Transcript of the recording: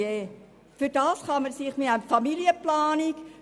Dafür gibt es eine Familienplanung.